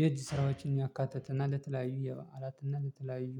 የእጅ ስራዎችን ያካተተና ለተለያዩ የበአላትና ለተለያዩ